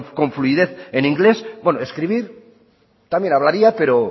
con fluidez en inglés bueno escribir también hablaría pero